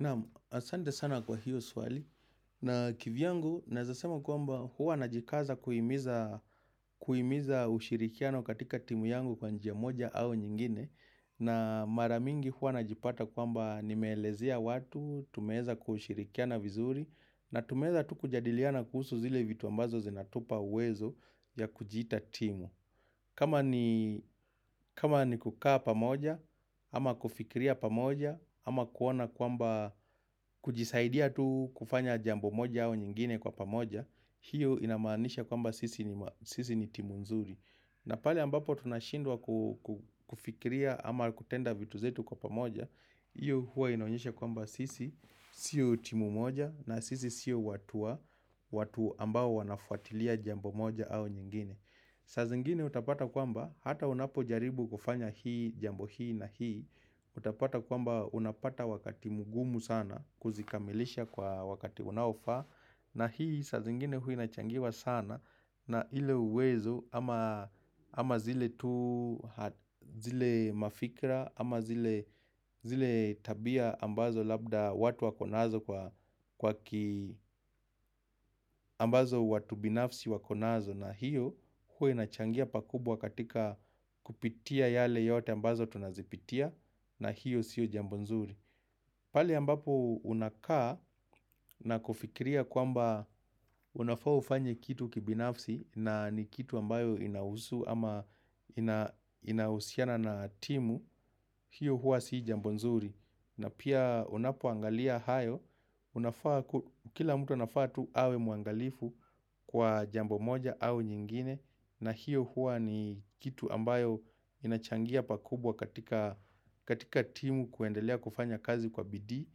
Naam, asante sana kwa hiyo swali. Na kivyangu, naweza sema kwamba huwa najikaza kuhimiza ushirikiano katika timu yangu kwa njia moja au nyingine. Na mara mingi huwa najipata kwamba nimeelezea watu, tumeweza kushirikiana vizuri, na tumeweza tu kujadiliana kuhusu zile vitu ambazo zinatupa uwezo ya kujiita timu. Kama ni kama ni kukaa pamoja, ama kufikiria pamoja, ama kuona kwamba kujisaidia tu kufanya jambo moja au nyingine kwa pamoja, hiyo inamaanisha kwamba sisi ni timu nzuri. Na pale ambapo tunashindwa kufikiria ama kutenda vitu zetu kwa pamoja, hiyo hua inaonyesha kwamba sisi sio timu moja na sisi sio watu wa, watu ambao wanafuatilia jambo moja au nyingine. Saa zingine utapata kwamba, hata unapojaribu kufanya hii, jambo hii na hii, utapata kwamba unapata wakati mgumu sana kuzikamilisha kwa wakati unaofaa na hii saa zingine huwa inachangiwa sana na ile uwezo amazile tu zile mafikra ama zile tabia ambazo labda watu wako nazo kwa ki ambazo watu binafsi wako nazo na hiyo huwa inachangia pakubwa katika kupitia yale yote ambazo tunazipitia na hiyo siyo jambo nzuri. Pahali ambapo unakaa na kufikiria kwamba unafaa ufanye kitu kibinafsi na ni kitu ambayo inahusu ama inahusiana na timu, hiyo hua si jambo nzuri. Na pia unapoangalia hayo, kila mtu anafaa tu awe muangalifu kwa jambo moja au nyingine. Na hiyo hua ni kitu ambayo inachangia pakubwa katika timu kuendelea kufanya kazi kwa bidii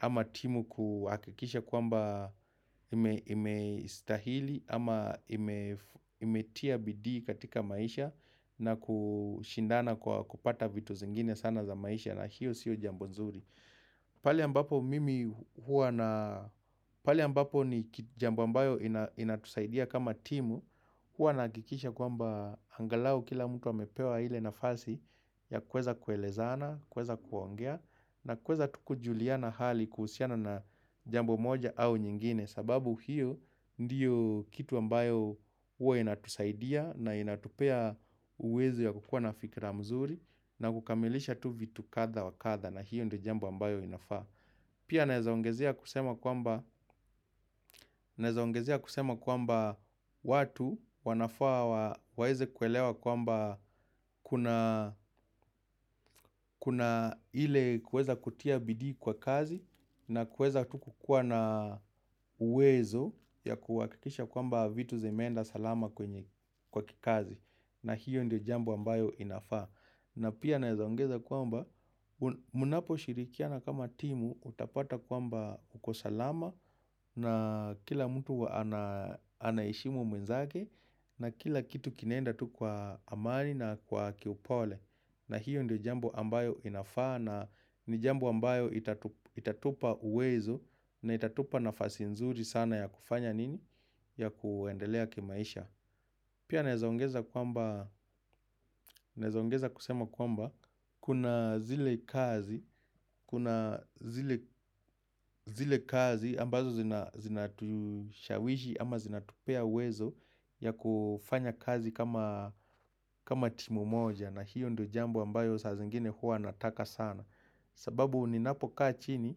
ama timu kuhakikisha kwamba imestahili ama imetia bidii katika maisha na kushindana kwa kupata vitu zingine sana za maisha na hiyo sio jambo nzuri pahali ambapo mimi huwa na pahali ambapo ni jambo ambayo inatusaidia kama timu Huwa nahakikisha kwamba angalau kila mtu amepewa ile nafasi ya kuweza kuelezana, kuweza kuongea aa kuweza tu kujuliana hali kuhusiana na jambo moja au nyingine sababu hiyo ndiyo kitu ambayo huwa inatusaidia na inatupea uwezo ya kukua na fikira mzuri na kukamilisha tu vitu kadha wa kadha na hiyo ndio jambo ambayo inafaa. Pia naweza ongezea kusema kwamba Naweza ongezea kusema kwamba watu wanafaa waweze kuelewa kwamba kuna Kuna ile kuweza kutia bidii kwa kazi na kuweza tu kukuwa na uwezo ya kuhakikisha kwamba vitu zimeenda salama kwenye kwa kikazi na hiyo ndi jambu ambayo inafaa na pia nezaongeza kwamba mnapo shirikiana kama timu utapata kwamba uko salama na kila mtu anaheshimu mwenzake na kila kitu kinaenda tu kwa amani na kwa kiupole na hiyo ndiyo jambo ambayo inafaa na ni jambo ambayo itatupa uwezo na itatupa nafasi nzuri sana ya kufanya nini ya kuendelea kimaisha Pia naweza ongeza kusema kwamba kuna zile kazi zile kazi ambazo zinatushawishi ama zinatupea uwezo ya kufanya kazi kama timu moja na hiyo ndiyo jambo ambayo saa zingine huwa nataka sana. Sababu ninapo kaa chini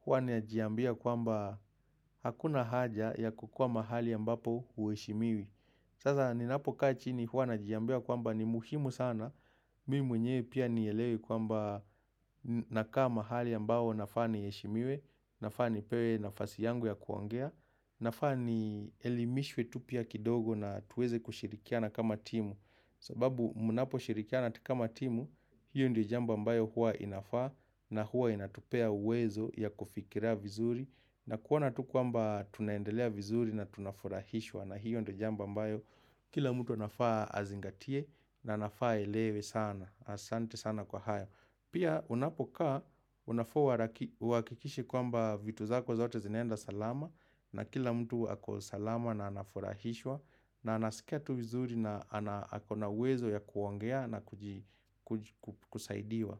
huwa ninajiambia kwamba hakuna haja ya kukuwa mahali ambapo huheshimiwi. Sasa ninapo kachini huwa najiambia kwamba ni muhimu sana, mimi mwenyewe pia nielewe kwamba nakaa mahali ambao nafaa niheshimiwe, nafaa nipewe nafasi yangu ya kuongea, nafaa nielimishwe tu pia kidogo na tuweze kushirikiana kama timu. Sababu mnapo shirikiana kama timu, hiyo ndiyo jambo ambayo huwa inafaa na huwa inatupea uwezo ya kufikiria vizuri na kuona tu kwamba tunaendelea vizuri na tunafurahishwa na hiyo ndiyo jambo ambayo kila mtu anafaa azingatie na anafaa aelewe sana, asante sana kwa haya. Pia unapokaa, unafaa uhakikishe kwamba vitu zako zote zinaenda salama na kila mtu ako salama na anafurahishwa na anasikia tu vizuri na ako na uwezo ya kuongea na kusaidiwa.